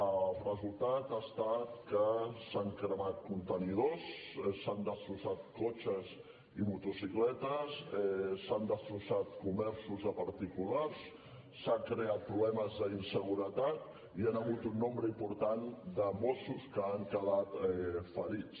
el resultat ha estat que s’han cremat contenidors s’han destrossat cotxes i motocicletes s’han destrossat comerços de particulars s’han creat problemes d’inseguretat i hi ha hagut un nombre important de mossos que han quedat ferits